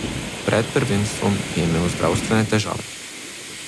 Pred prvenstvom je imel zdravstvene težave.